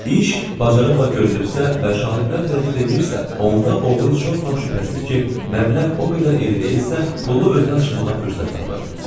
İş bacarıqla görülübsə və şahidlər tərəddüd eləyirsə, onda oğru çox vaxt şübhəsiz ki, məbləğ o qədər iri deyilsə, pulu özünə çıxarmağa fürsət tapır.